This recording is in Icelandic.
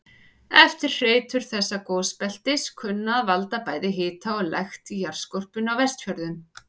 Eftirhreytur þessa gosbeltis kunna að valda bæði hita og lekt í jarðskorpunni á Vestfjörðum.